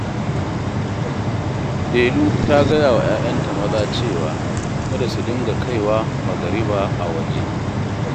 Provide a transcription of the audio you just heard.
Delu ta gaya wa 'ya'yanta maza cewa, kada su dinga kai wa magariba a waje